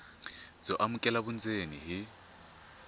byo amukeleka vundzeni hi